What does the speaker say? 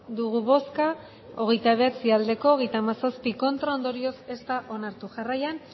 dugu bozka hogeita bederatzi bai hogeita hamazazpi ez ondorioz ez da onartu jarraian